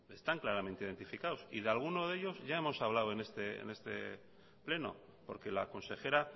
están claramente identificados y de alguno de ellos ya hemos hablado en este pleno porque la consejera